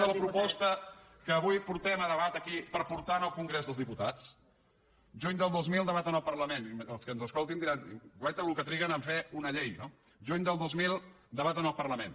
de la proposta que avui portem a debat aquí per portar al congrés dels diputats juny del dos mil debat en el parlament els que ens escoltin diran guaita el que triguen a fer una llei no juny del dos mil debat en el parlament